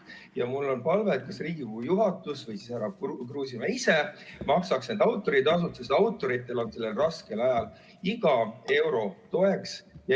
Ja mul on palve, et Riigikogu juhatus või härra Kruusimäe ise maksaks selle autoritasu, sest autoritele on sellel raskel ajal iga euro toeks.